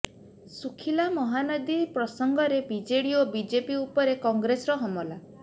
ଶୁଖିଲା ମହାନଦୀ ପ୍ରସଙ୍ଗରେ ବିଜେଡି ଓ ବିଜେପି ଉପରେ କଂଗ୍ରେସର ହମଲା